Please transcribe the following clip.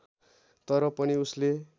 तर पनि उसले